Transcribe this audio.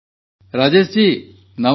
ରାଜେଶ ଜୀ ନମସ୍କାର